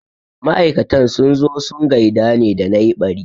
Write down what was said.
Ma'aikatan sun zo sun gaida ne da na yi ɓari